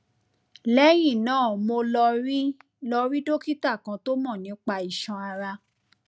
lẹyìn náà mo lọ rí lọ rí dókítà kan tó mọ nípa iṣan ara